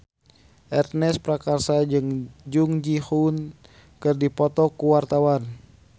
Ernest Prakasa jeung Jung Ji Hoon keur dipoto ku wartawan